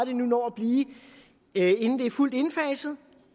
det når at blive inden det er fuldt indfaset